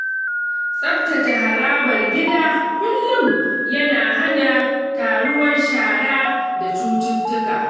Tsaftace harabar gida kullum yana hana taruwar shara da cututtuka.